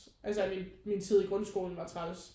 Altså at min min tid i grundskolen var træls